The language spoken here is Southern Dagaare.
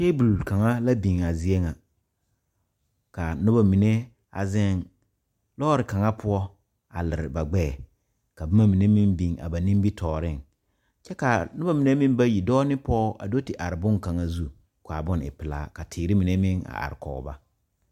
Tabol kaŋa la biŋ a zie ŋa kaa noba mine a ziŋ lɔɔri kaŋa poɔ a liri ba gbɛɛ ka boma mine meŋ biŋ ba nimi tɔɔriŋ kyɛ kaa noba mine meŋ bayi dɔɔ ne pɔge a do te are boŋkaŋa zu kaa boni e pilaa ka teere mine meŋ are kɔŋ ba.